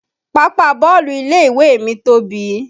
Pápá bọ́ọ̀lù ilé ìwé mi tóbi